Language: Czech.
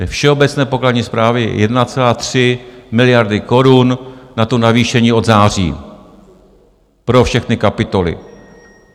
Ve všeobecné pokladní správě je 1,3 miliardy korun na navýšení od září pro všechny kapitoly.